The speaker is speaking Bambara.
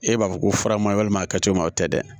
E b'a fɔ ko faramalima a kɛcogo ma o tɛ dɛ